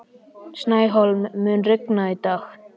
Snæhólm, mun rigna í dag?